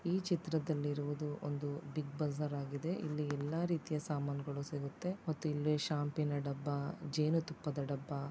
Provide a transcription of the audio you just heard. ಈ ಚಿತ್ರದಲ್ಲಿರುವುದು ಒಂದು ಬಿಗ್ ಬಜಾರ್ ಆಗಿದೆ ಇಲ್ಲಿ ಎಲ್ಲಾ ರೀತಿಯ ಸಾಮಾನುಗಳು ಸಿಗುತ್ತೆ ಮತ್ತು ಇಲ್ಲಿ ಶಾಂಪಿನ ಡಬ್ಬ ಜೇನು ತುಪ್ಪದ ಡಬ್ಬ --